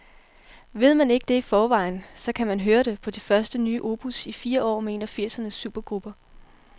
Ved man ikke det i forvejen, så kan man høre det på det første nye opus i fire år med en af firsernes supergrupper.